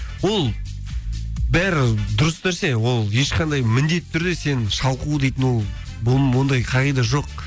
ол бәрі дұрыс нәрсе ол ешқандай міндетті түрде сен шалқу дейтін ол ондай қағида жоқ